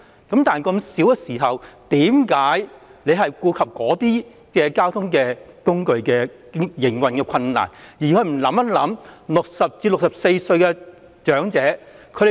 既然如此，為何局長要顧及該等交通工具的營運困難，而不考慮60歲至64歲長者的需要呢？